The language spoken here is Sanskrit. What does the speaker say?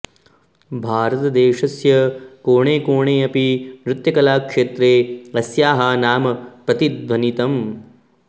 भारतदेशस्य कोणे कोणे अपि नृत्यकलाक्षेत्रे अस्याः नाम प्रतिध्वनितम्